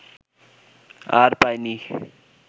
আর পায়নি